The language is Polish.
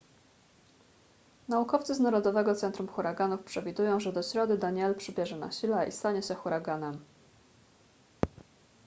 naukowcy z narodowego centrum huraganów przewidują że do środy danielle przybierze na sile i stanie się huraganem